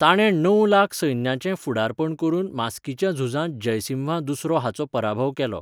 ताणें णव लाख सैन्याचें फुडारपण करून मास्कीच्या झुजांत जयसिम्हा दुसरो हाचो पराभव केलो.